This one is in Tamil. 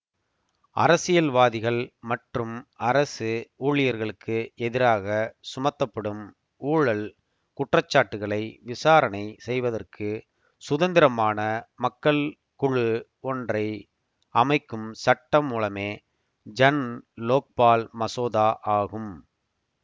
அரசியல்வாதிகள் மற்றும் அரசு ஊழியர்களுக்கு எதிராக சுமத்தப்படும் ஊழல் குற்றச்சாட்டுகளை விசாரணை செய்வதற்கு சுதந்திரமான மக்கள் குழு ஒன்றை அமைக்கும் சட்டமூலமே ஜன் லோக்பால் மசோதா ஆகும்